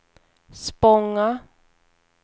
Spånga